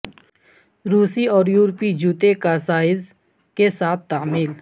روسی اور یورپی جوتے کا سائز کے ساتھ تعمیل